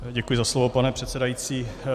Děkuji za slovo, pane předsedající.